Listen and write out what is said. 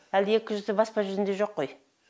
әлі де екі жүзі баспа жүзінде жоқ қой